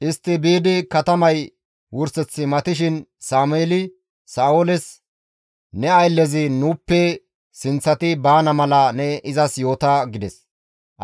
Istti biidi katamay wurseth matishin Sameeli Sa7ooles, «Ne ayllezi nuuppe sinththati baana mala ne izas yoota» gides.